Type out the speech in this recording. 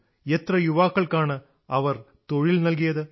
എത്ര യുവാക്കൾക്കാണ് അവർ തൊഴിൽ നൽകിയത്